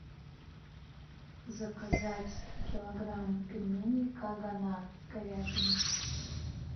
заказать килограмм пельменей кагонат с говядиной